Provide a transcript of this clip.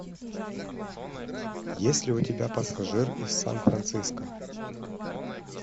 есть ли у тебя пассажир из сан франциско